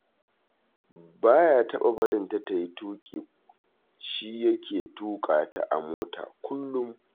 Ba ya taɓa barin ta ta yi tuƙi, shi yake tuƙa ta a mota kullum